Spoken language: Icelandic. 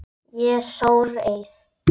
Ég sór eið.